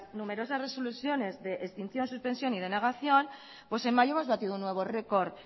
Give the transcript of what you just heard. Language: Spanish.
numerosas resoluciones de extinción suspensión y denegación pues en mayo hemos batido un nuevo récord